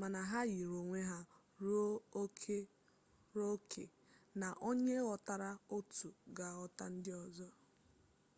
mana ha yiri onwe ha ruo oke na onye ghọtara otu ga-aghọta ndị ọzọ